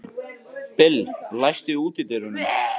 Bill, læstu útidyrunum.